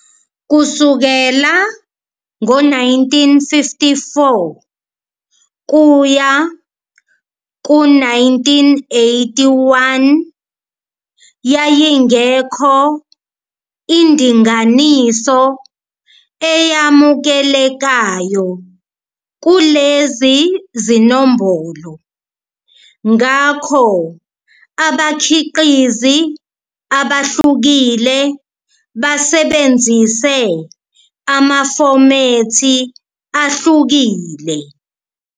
Kusukela ngo-1954 kuya ku-1981, yayingekho indinganiso eyamukelekayo kulezi zinombolo, ngakho abakhiqizi abahlukile basebenzise amafomethi ahlukile.